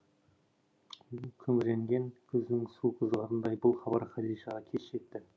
күңіренген күздің суық ызғарындай бұл хабар хадишаға кеш жетті